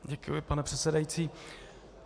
Děkuji, pane předsedající.